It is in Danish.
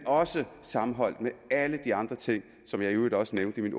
sammenholdt med alle de andre ting som jeg i øvrigt også nævnte i